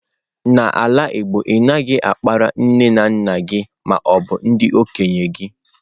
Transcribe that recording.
n'ala igbo, anaghi akpari nne na nna gi ma obu ndi okenye gi